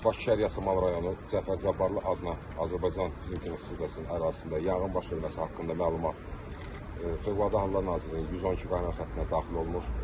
Bakı şəhəri Yasamal rayonu Cəfər Cabbarlı adına Azərbaycan Dövlət Dram Teatrının ərazisində yanğın baş verməsi haqqında məlumat Fövqəladə Hallar Nazirliyinin 112 qaynar xəttinə daxil olmuş.